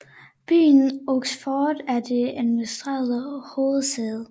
Byen Oxford er det administrative hovedsæde